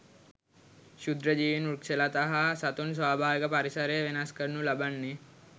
ක්ෂුද්‍ර ජීවීන් වෘක්ෂලතා හා සතුන් ස්වාභාවික පරිසරය වෙනස් කරනු ලබන්නේ